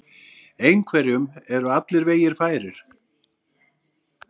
Einhverjum eru allir vegir færir